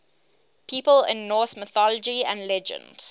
people in norse mythology and legends